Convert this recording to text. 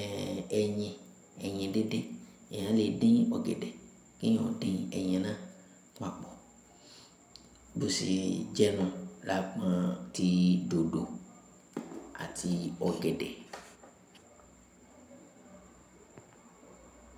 ẹ́, ẹyin, ẹyin díndín. Èèyàn lè dín ọ̀gẹ̀dẹ̀ kí èèyàn ó dín ẹyin náà papọ̀. Bó ṣe jẹ́ náà, lágbọn ti dòdò àti ọ̀gẹ̀dẹ̀.